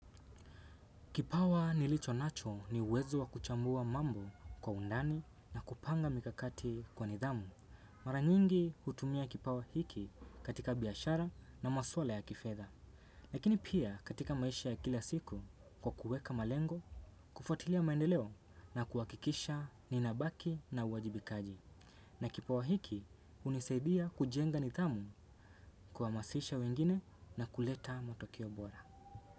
Kipawa nilicho nacho ni uwezo wa kuchambua mambo kwa undani na kupanga mikakati kwa nidhamu. Mara nyingi hutumia kipawa hiki katika biashara na maswala ya kifedha. Lakini pia katika maisha ya kila siku kwa kuweka malengo, kufwatilia maendeleo na kuwakikisha ninabaki na uwajibikaji. Na kipawa hiki hunisaidiya kujenga nidhamu kuhamasisha wengine na kuleta matokeo bora.